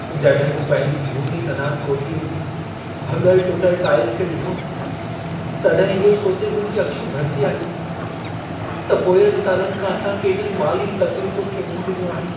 जॾहिं मूं पंहिंजी झूनी सनान कोठीअ जी भॻल टुटल टाइल्स खे ॾिठो, तॾहिं इहो सोचे मुंहिंजूं अखियूं भरिजी आयूं, त पोयंनि सालनि खां असां केॾी माली तक़्लीफुनि खे मुंहं ॾिनो आहे।